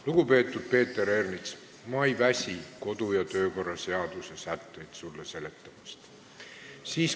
Lugupeetud Peeter Ernits, ma ei väsi sulle kodu- ja töökorra seaduse sätteid seletamast.